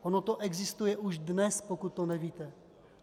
Ono to existuje už dnes, pokud to nevíte.